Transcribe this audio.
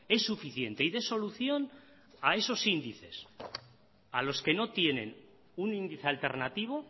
es suficiente y dé solución a esos índices a los que no tienen un índice alternativo